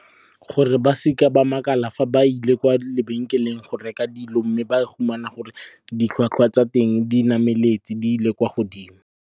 Gore ba seke ba makala fa ba ile kwa lebenkeleng go reka dilo mme ba fumana gore ditlhwatlhwa tsa teng di nameletse, di ile kwa godimo.